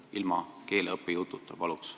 Paluks ilma keeleõppe jututa!